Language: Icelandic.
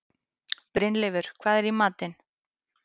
Brynleifur, hvað er í matinn?